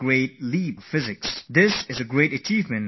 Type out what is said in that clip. It is going to be of use for the whole of humankind